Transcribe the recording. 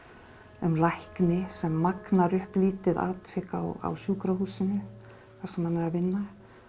um lækni sem magnar upp lítið atvik á sjúkrahúsinu þar sem hann er að vinna